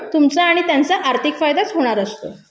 तुमचा आणि त्यांचा आर्थिक फायदाच होणार असतो